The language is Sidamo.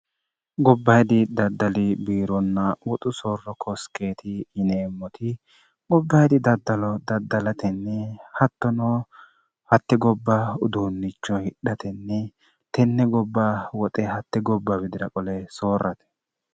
gobba hidi daddali biironna woxu soorro kooskeeti yineemmoti gobbahidi daddalo daddalatenni hattonoo hatte gobba uduunnicho hidhatenni tenne gobba woxe hatte gobba widira qole soorrate